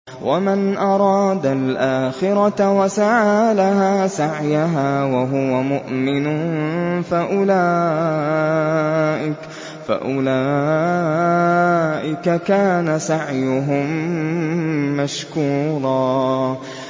وَمَنْ أَرَادَ الْآخِرَةَ وَسَعَىٰ لَهَا سَعْيَهَا وَهُوَ مُؤْمِنٌ فَأُولَٰئِكَ كَانَ سَعْيُهُم مَّشْكُورًا